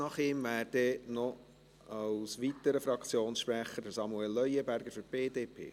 Nach ihm käme als weiterer Fraktionssprecher noch Samuel Leuenberger für die BDP.